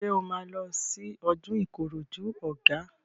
Ṣé o máa lọ sí ọdún Ìkòròdú Ọ̀gá?